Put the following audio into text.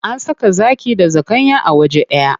An saka zaki da zakanya a waje ɗaya.